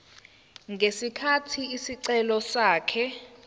ngesikhathi isicelo sakhe